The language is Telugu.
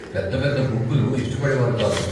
పెద్ద పెద్ద గుంపులు ఇష్టపడేవారు కాదు.